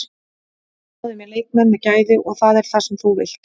Við náðum í leikmenn með gæði og það er það sem þú vilt.